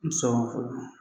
N sɔgɔma fɔlɔ.